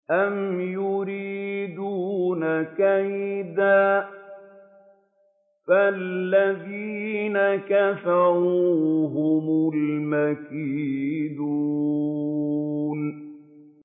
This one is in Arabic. أَمْ يُرِيدُونَ كَيْدًا ۖ فَالَّذِينَ كَفَرُوا هُمُ الْمَكِيدُونَ